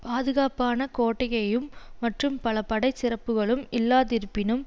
பாதுகாப்புக்கான கோட்டையும் மற்றும் பல படைச் சிறப்புகளும் இல்லாதிருப்பினும்